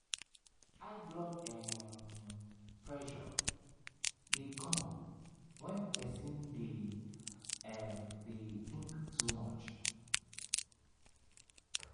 high blood um pressure dey come when person dey um think too much